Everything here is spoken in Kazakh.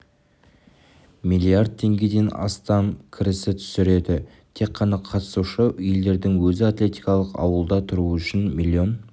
млрд теңгеден астам кіріс түсіреді тек қана қатысушы елдердің өзі атлетикалық ауылда тұру үшін млн